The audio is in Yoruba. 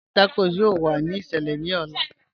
Naan àti tacos yọ̀ò wà ní ìṣẹlẹ̀ ní ò̩là.